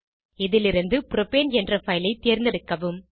இதிலிருந்து புரோப்பேன் என்ற பைல் ஐ தேர்ந்தெடுக்கவும்